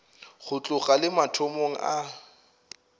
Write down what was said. go tloga le mathomong a